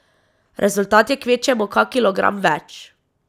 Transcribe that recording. Rezultat je kvečjemu kak kilogram več.